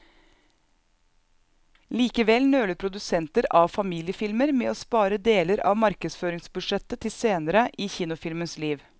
Likevel nøler produsenter av familiefilmer med å spare deler av markedsføringsbudsjettet til senere i kinofilmens liv.